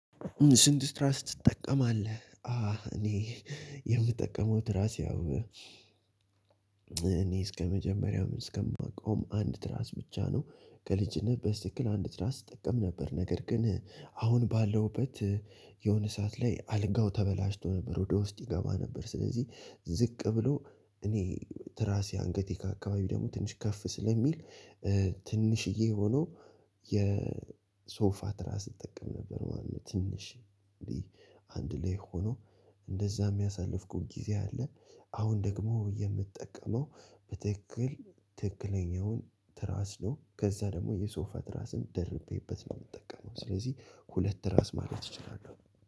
ስንት ስትራስ ትጠቀማለህ? እኔ የምጠቀመው ትራስ ያው እኔ እስከመጀመሪያው እስከማቀውም አንድ ትራስ ብቻ ነው ከልጅነት በስትክክል አንድ ትራስ እጠቀም ነበር። ነገር ግን አሁን ባለሁበት የሆነ ሰዓት ላይ አልጋው ተበላሽቶ ነበር ወደ ውስጥ ይገባ ነበር ስለዚህ ዝቅ ብሎ እኔ ትራሴ አንገቴ ጋ አካባቢ ደግሞ ትንሽ ከፍ ስለሚል ትንሽዬ ሆኖ የሶፋ ትራስ እጠቀም ነበር። ማለት ትንሽ አንድ ላይ ሆኖ እንደዛም ያሳለፍኩት ጊዜ አለ። አሁን ደግሞ የምጠቀመው በትክክል ትክክለኛውን ትራስ ነው። ከዛ ደግሞ የሶፋ ትራስም ደርቤበት ነው የምጠቀመው። ስለዚህ ሁለት ትራስ ማለት እችላለው